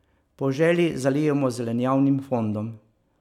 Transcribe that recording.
Po želji zalijemo z zelenjavnim fondom.